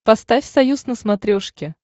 поставь союз на смотрешке